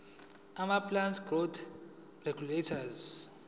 amaplant growth regulators